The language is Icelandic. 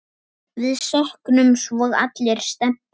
Við söknum svo allir Stebba.